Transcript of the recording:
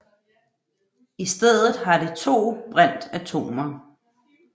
I stedet har det to brintatomer